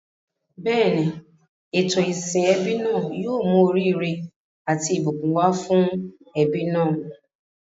Bẹ́ẹ̀ni, ètò ìsìn ẹbí náà yóò mú oríire àti ìbùkún wá fún ẹbí náà.